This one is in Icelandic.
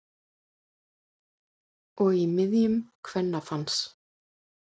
Og í miðjum kvennafans.